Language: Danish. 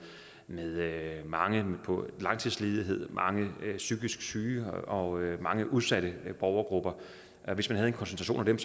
med mange langtidsledige og mange psykisk syge og mange udsatte borgergrupper og hvis man havde en koncentration af dem